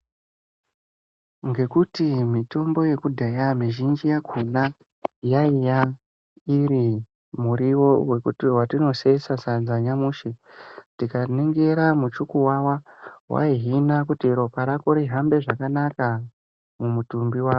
Ngekuti mutombo wekudhaya muzhinji wakona yaiiva iri muriwo watinosheesa sadza nyamushi tikaningira muchukuwawa waihina kuti ropa rako rihambe zvakanaka mumutumbi wako.